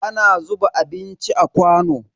Ana zuba abinci a kwano.